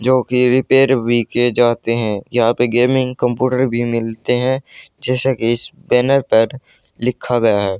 जोकि रिपेयर वीके जाते हैं यहां पे गेमिंग कंप्यूटर भी मिलते हैं जैसा कि इस बैनर पर लिखा गया है।